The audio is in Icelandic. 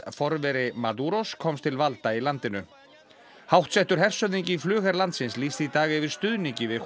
forveri komst til valda í landinu háttsettur hershöfðingi í flugher landsins lýsti í dag yfir stuðningi við